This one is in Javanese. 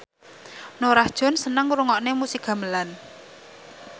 Norah Jones seneng ngrungokne musik gamelan